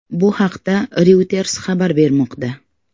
Bu haqda Reuters xabar bermoqda.